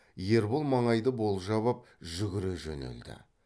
ербол маңайды болжап ап жүгіре жөнелді